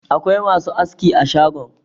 Akwai masu aski a shagon.